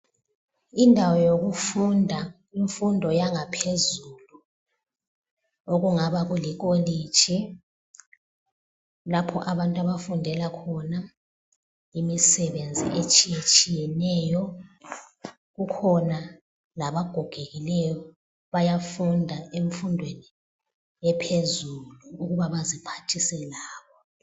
Indawo yokufunda imfundo yangaphezulu okungaba kulikolitshi lapho abantu abafundela khona imisebenzi etshiyetshiyeneyo . Kukhona labagogekileyo bayafunda emfundweni ephezulu ukuba baziphathise labo.